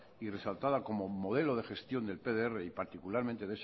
y resaltada como modelo de gestión del pdr y particularmente